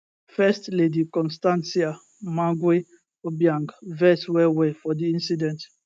first lady constancia mangue obiang vex well well for di incident